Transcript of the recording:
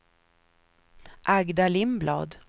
Agda Lindblad